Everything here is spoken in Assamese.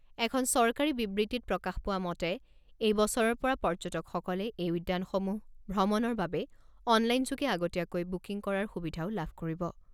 এখন চৰকাৰী বিবৃতিত প্ৰকাশ পোৱা মতে এই বছৰৰ পৰা পৰ্যটকসকলে এই উদ্যানসমূহ ভ্ৰমণৰ বাবে অনলাইন যোগে আগতীয়াকৈ বুকিং কৰাৰ সুবিধাও লাভ কৰিব।